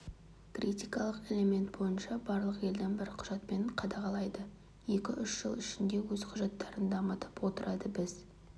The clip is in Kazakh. критикалық элемент бойынша барлық елдің бір құжатпен қадағалайды екі-үш жыл ішінде өз құжаттарын дамытып отырады біз